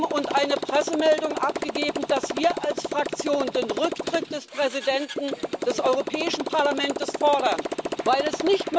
und eine Pressemeldung abgegeben, dass wir als Fraktion den Rücktritt des Präsidenten des Europäischen Parlamentes fordern, weil es